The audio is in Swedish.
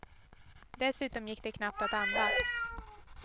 Dessutom gick det knappt att andas.